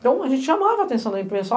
Então a gente chamava a atenção da imprensa.